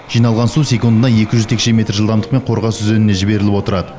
жиналған су секундына екі жүз текше метр жылдамдықпен қорғас өзеніне жіберіліп отырады